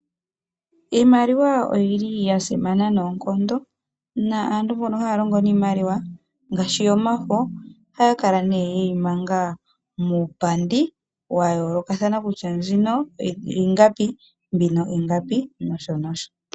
iimaliwa oyili ya simana noonkondo na aantu mbo haya longo niimaliwa ngaashi yomafo ohaya kala nee yeyi manga muupandi wa yoolokathana kulya ndjino ingapi, mbino ingapi nosho nosho.